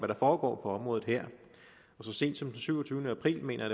der foregår på området her så sent som den syvogtyvende april mener